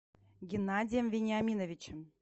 геннадием вениаминовичем